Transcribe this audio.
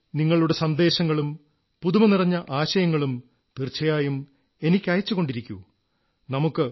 നിങ്ങൾ നിങ്ങളുടെ സന്ദേശങ്ങളും പുതുമനിറഞ്ഞ ആശയങ്ങളും തീർച്ചയായും എനിക്കയച്ചുകൊണ്ടിരിക്കൂ